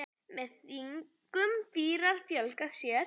Með þingum fýrar fjölga sér.